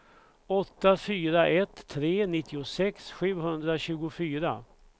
åtta fyra ett tre nittiosex sjuhundratjugofyra